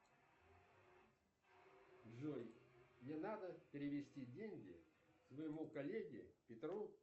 джой мне надо перевести деньги своему коллеге петру